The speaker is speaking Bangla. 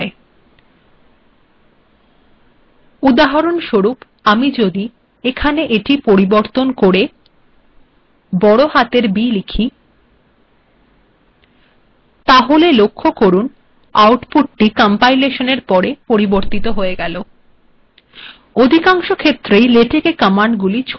অিধকাংশেখত্েরই েলেটক্ কমান্ডগুিল case sensitive হয় উদাহরণস্বরূপ আিম যিদ এিট পিরবর্তন কের বড় হােতর b িলিখ তাহেল লক্খখ করুন